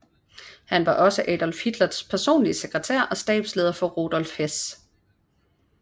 Han var også Adolf Hitlers personlige sekretær og stabsleder for Rudolf Hess